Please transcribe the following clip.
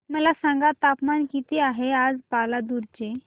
मला सांगा तापमान किती आहे आज पालांदूर चे